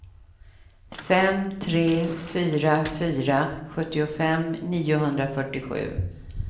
fem tre fyra fyra sjuttiofem niohundrafyrtiosju